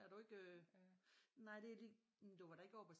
Er du ikke øh nej det er lige men du var da ikke oppe og